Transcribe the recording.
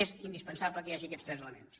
és indispensable que hi hagi aquests tres elements